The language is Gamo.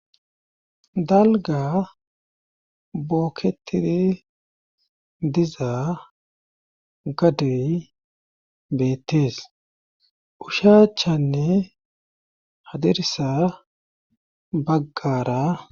dalga bookketidi diza gadey beettees ushaachanne hadirsa baggara